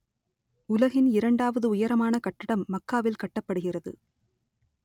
உலகின் இரண்டாவது உயரமான கட்டடம் மக்காவில் கட்டப்படுகிறது